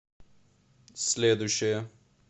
следующая